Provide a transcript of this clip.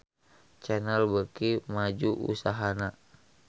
Channel beuki maju usahana